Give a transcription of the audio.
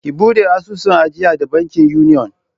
Ki buɗe asusun ajiya da bankin Union!